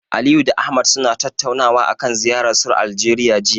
Aliyu da Ahmad suna tattaunawa akan ziyararsu Aljeriya, jiya.